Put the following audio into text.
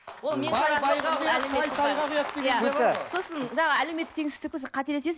сосын жаңа әлеуметтік теңсіздік қателесесіз